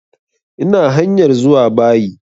Ina hanyar zuwa bayi